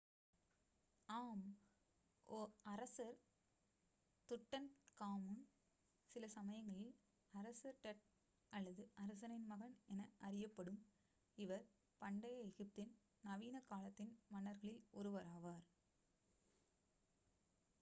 "ஆம்! அரசர் துட்டன்காமூன் சிலசமயங்களில் "அரசர் tut" அல்லது "அரசனின் மகன்" என அறியப்படும் இவர் பண்டைய எகிப்தின் நவீன காலத்தின் மன்னர்களில் ஒருவராவார்.